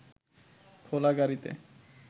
খোলা গাড়ীতে